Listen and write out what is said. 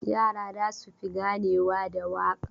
Yara za su fi ganewa da waka.